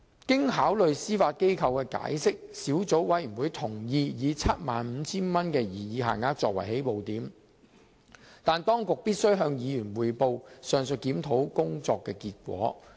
經考慮司法機構的解釋後，小組委員會同意以 75,000 元的擬議限額作為起步點，但當局必須向議員匯報上述檢討工作的結果。